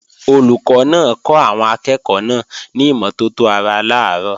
Olùkọ́ náà kọ́ àwọn akẹ́ẹ̀kọ́ náà ní ìmọ́tótó ara làárọ̀